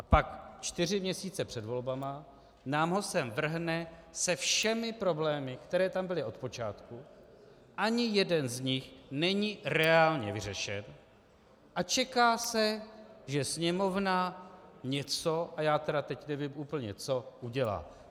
A pak čtyři měsíce před volbami nám ho sem vrhne se všemi problémy, které tam byly od počátku, ani jeden z nich není reálně vyřešen, a čeká se, že Sněmovna něco - a já teda teď nevím úplně co - udělá.